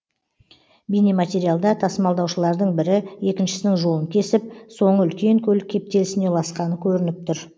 бейнематериалда тасымалдаушылардың бірі екіншісінің жолын кесіп соңы үлкен көлік кептелісіне ұласқаны көрініп тұр